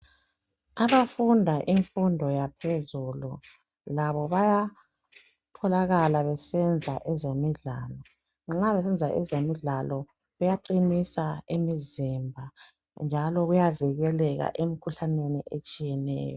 Abafunda imfundo yaphezulu labo bayatholakala besenza ezemidlalo nxa besenza ezemidlalo kuyaqinisa imizimba njalo kuyavikeleka emkhuhlaneni etshiyeneyo